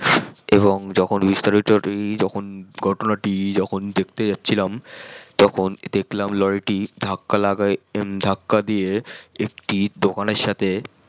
এবং যখন বিস্তারিতটি যখন ঘটনা টি যখন দেখতে যাচছিলাম তখন দেখলাম লরি টি ধাক্কা দিয়ে একটি দকান এর সাথে